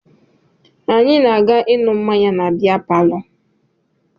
Anyị na-aga ịṅụ mmanya na bịa palọ